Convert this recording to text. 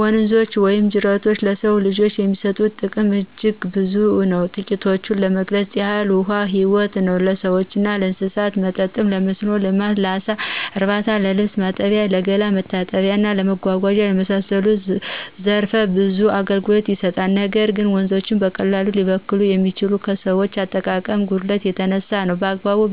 ወንዞች ወይም ጅረቶች ለሰው ልጆች የሚሰጡት ጥቅም አጅግ ብዙ ነው ትቂቶችን ለመግለጽ ያህል ውሀ ህይወት ነው ለሰዎችና ለእንስሳት መጠጥ :ለመስኖ ልማት: ለአሳ እርባታ :ለልብስ ማጠቢያ :ለገላ መታጠቢያና እና ለመጓጓዛነት የመሳሰሉት ዘረፈ ብዙ አገልግሎት ይሰጣሉ ነገር ግን ወንዞች በቀላሉ ሊበከሉ ይችላሉ ከሰዎች የአጠቃቀም ጉድለት የተነሳ ነው። በአግባቡ